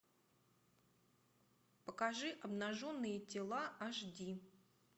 покажи обнаженные тела аш ди